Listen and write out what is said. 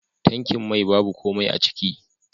Tankin mai babu komai aciki.